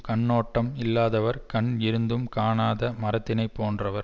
கண்ணோட்டம் இல்லாதவர் கண் இருந்தும் காணாத மரத்தினைப் போன்றவர்